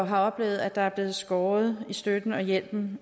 har oplevet at der er blevet skåret i støtten og hjælpen